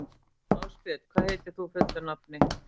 Ásbjörg, hvað heitir þú fullu nafni?